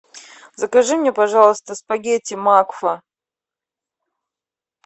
закажи мне пожалуйста спагетти макфа